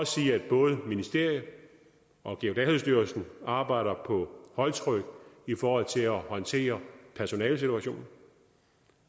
sige at både ministeriet og geodatastyrelsen arbejder på højtryk i forhold til at håndtere personalesituationen